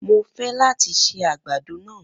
Mo fẹ́ láti se àgbàdo náà